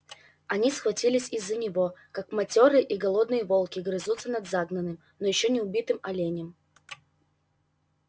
они схватились из-за него как матёрые и голодные волки грызутся над загнанным но ещё не убитым оленем